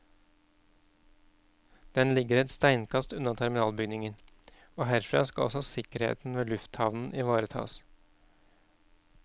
Den ligger et steinkast unna terminalbygningen, og herfra skal også sikkerheten ved lufthavnen ivaretas.